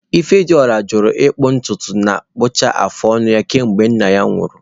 Ifediora ajụla ịkpụ ntutu na ịkpụcha afụ ọnụ ya kemgbe nna ya nwụrụ.